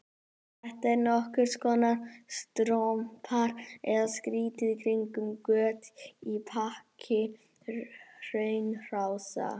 Þetta eru nokkurs konar strompar eða strýtur í kringum göt í þaki hraunrása.